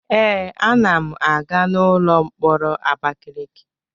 Ee, a na m aga n'ụlọ mkpọrọ Abakiliki.